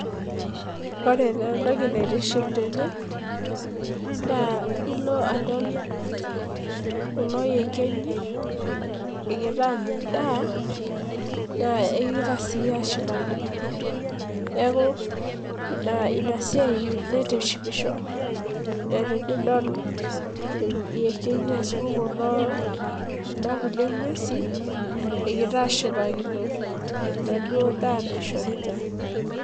Ore taa entoki naitiship tene naa ilo adol kulo yekenyi ,egira aanya edaa.,naa egira sii ashipakino. neeku Ina siai. naitishipisho. neeku tenidol iyekenyi, ashu Kuna kulie nguesin egira ashipakino. enaduok daa naishoritae.